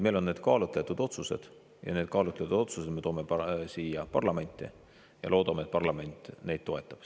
Need on kaalutletud otsused ja need kaalutletud otsused me toome siia parlamenti ja loodame, et parlament neid toetab.